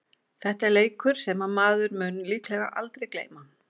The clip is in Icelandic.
Þetta er leikur sem maður mun líklega aldrei gleyma.